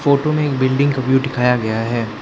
Photo में एक building का व्यू दिखाया गया है।